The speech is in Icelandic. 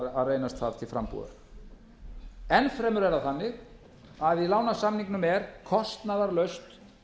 reynast það til frambúðar enn fremur er það þannig að í lánasamningnum er kostnaðarlaust